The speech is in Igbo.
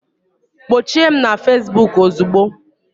Gbochie m na Facebook ozugbo!